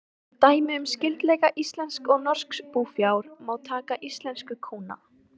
Sem dæmi um skyldleika íslensks og norsks búfjár má taka íslensku kúna.